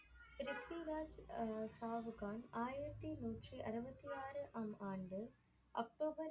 ப்ரித்விராஜ் சாவுகான் ஆயிரத்தி நூற்றி அறுபத்தி ஆறாம் ஆண்டு அக்டோபர்